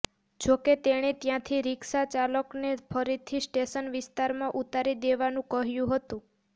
જો કે તેણે ત્યાંથી રિક્ષાચાલકને ફરીથી સ્ટેશન વિસ્તારમાં ઉતારી દેવાનું કહ્યું હતું